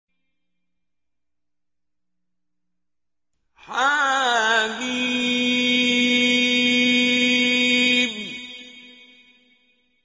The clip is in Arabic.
حم